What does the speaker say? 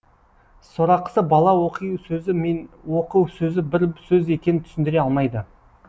сорақысы бала оқи сөзі мен оқы сөзі бір сөз екенін түсіндіре алмайды